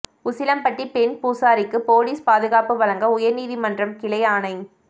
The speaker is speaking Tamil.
உசிலம்பட்டி பெண் பூசாரிக்கு போலீஸ் பாதுகாப்பு வழங்க உயர்நீதிமன்ற கிளை ஆணை